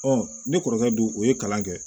ne kɔrɔkɛ dun o ye kalan kɛ